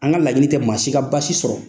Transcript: An ka laɲini tɛ maa si ka basi sɔrɔ.